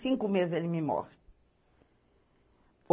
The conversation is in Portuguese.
Cinco meses e ele me morre.